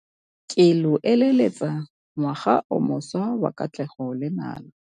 Ke lo eleletsa ngwaga o mošwa wa katlego le nala.